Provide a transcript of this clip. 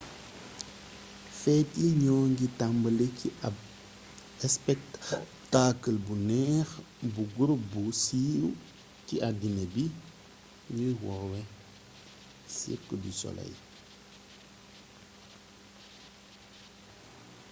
feet yi ñoo ngi tambali ci ab spektaakal bu neex bu gurup bu siiw ci addina bi ñuy woowee cirque du soleil